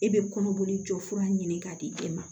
E bɛ kɔnɔboli jɔsira ɲini k'a di e ma